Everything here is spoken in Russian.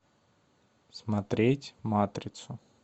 смотреть матрицу